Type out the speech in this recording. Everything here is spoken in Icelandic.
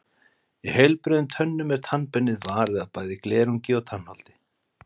Í heilbrigðum tönnum er tannbeinið varið af bæði glerungi og tannholdi.